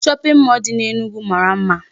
Shopping mall dị n'Enugu mara mma.